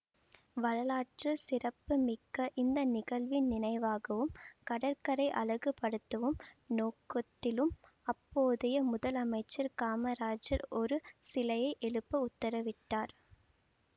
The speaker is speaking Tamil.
வரலாற்று சிறப்பு மிக்க இந்த நிகழ்வின் நினைவாகவும் கடற்கரை அழகு படுத்தவும் நோக்கத்திலும் அப்போதைய முதலமைச்சர் காமராஜர் ஒரு சிலையை எழுப்ப உத்தரவிட்டார்